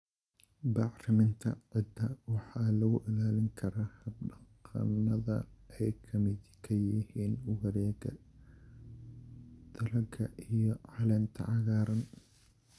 Bacriminta ciidda waxa lagu ilaalin karaa hab-dhaqannada ay ka midka yihiin wareegga dalagga iyo caleenta cagaaran.